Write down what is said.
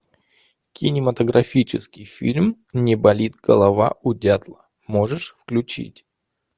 кинематографический фильм не болит голова у дятла можешь включить